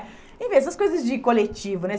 Enfim, essas coisas de coletivo, né?